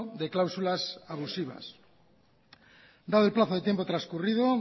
de cláusulas abusivas dado el plazo del tiempo transcurrido